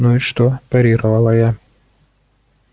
ну и что парировала я